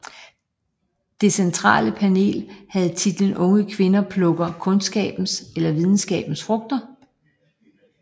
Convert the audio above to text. Det centrale panel havde titlen Unge kvinder plukker kundskabens eller videnskabens frugter